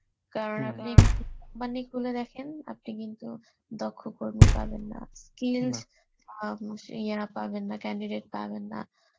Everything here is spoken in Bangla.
কারণ আপনি মানে গুলো দেখেন আপনি কিন্তু, দক্ষ কর্মী পাবেন না skills আ মুশ ইয়া পাবেন না, candidate পাবেন না